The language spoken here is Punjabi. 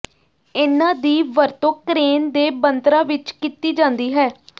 ਇਨ੍ਹਾਂ ਦੀ ਵਰਤੋਂ ਕ੍ਰੇਨ ਦੇ ਬਣਤਰਾਂ ਵਿੱਚ ਕੀਤੀ ਜਾਂਦੀ ਹੈ